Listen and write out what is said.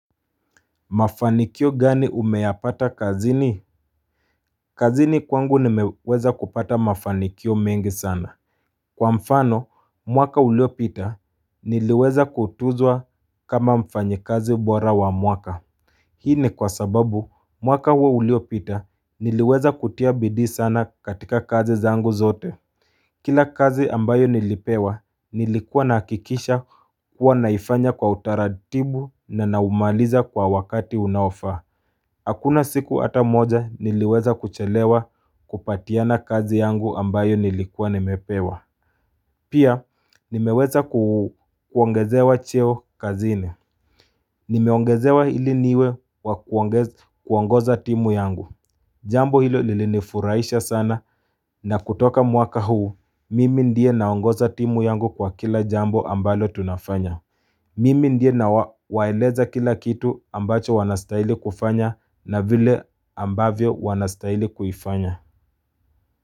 Mafanikio gani umeyapata kazini kazini kwangu nimeweza kupata mafanikio mengi sana Kwa mfano mwaka uliopita niliweza kutuzwa kama mfanyikazi bora wa mwaka Hii ni kwa sababu mwaka huo uliopita niliweza kutia bidii sana katika kazi zangu zote Kila kazi ambayo nilipewa nilikua nahakikisha kuwa naifanya kwa utaratibu na naumaliza kwa wakati unaofaa Hakuna siku hata moja niliweza kuchelewa kupatiana kazi yangu ambayo nilikuwa nimepewa. Pia nimeweza kuongezewa cheo kazini. Nimeongezewa ili niwe wa kuongoza timu yangu. Jambo hilo lilinifurahialsha sana na kutoka mwaka huu mimi ndiye naongoza timu yangu kwa kila jambo ambalo tunafanya. Mimi ndiye nawaeleza kila kitu ambacho wanastahili kufanya na vile ambavyo wanastahili kufanya.